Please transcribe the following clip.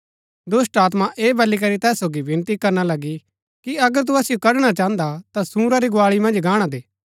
दुष्‍टात्मा ऐह बली करी तैस सोगी विनती करना लगी कि अगर तु असिओ कढणा चाहन्दा ता सूअरा री गुआली मन्ज गाणा दे